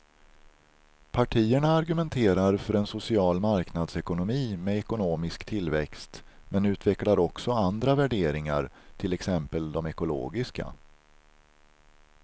Partierna argumenterar för en social marknadsekonomi med ekonomisk tillväxt men utvecklar också andra värderingar, till exempel de ekologiska.